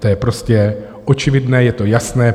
To je prostě očividné, je to jasné.